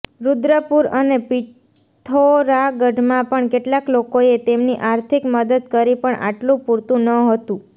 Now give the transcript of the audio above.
રૂદ્રપુર અને પિથોરાગઢમાં પણ કેટલાક લોકોએ તેમની આર્થિક મદદ કરી પણ આટલું પૂરતું નહોતું